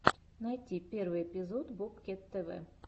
найти первый эпизод бобкет тв